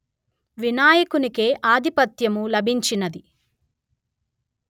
వినాయకునికే ఆధిపత్యము లభించినది